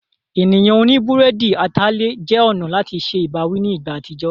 Ènìyàn oní búrẹ́dì atalẹ̀ jẹ́ ọ̀nà láti se ìbáwí ní ìgbà àtijọ́.